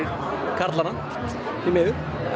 karlmenn því miður